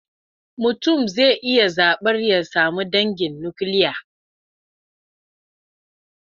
Mutum zai iya zaɓar ya sami dangin nukiliya.